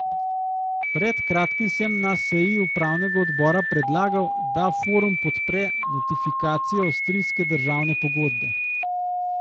Pred kratkim sem na seji upravnega odbora predlagal, da Forum podpre notifikacijo avstrijske državne pogodbe.